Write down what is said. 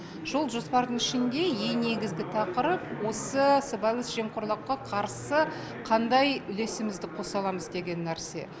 сол жоспардың ішінде ең негізгі тақырып осы сыбайлас жемқорлыққа қарсы қандай үлесімізді қоса аламыз деген нәрсе